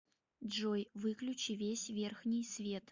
джой выключи весь верхний свет